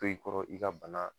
To i kɔrɔ, i ka bana